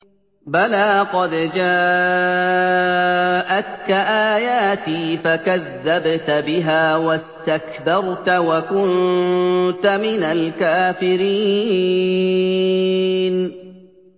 بَلَىٰ قَدْ جَاءَتْكَ آيَاتِي فَكَذَّبْتَ بِهَا وَاسْتَكْبَرْتَ وَكُنتَ مِنَ الْكَافِرِينَ